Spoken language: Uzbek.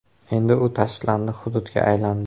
Endi u tashlandiq hududga aylandi.